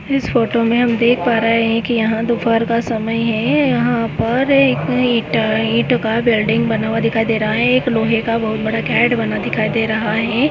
इस फोटो मे देख पा रहे है की यहा दोपहर का समय है यहाँ पर एक इट इटोका बिल्डिंग बना हुआ दिखाई दे रहा है एक लोहे का बहुत बडा क्यारेट बना दिखाई दे रहा है।